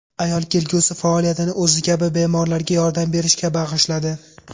Ayol kelgusi faoliyatini o‘zi kabi bemorlarga yordam berishga bag‘ishladi.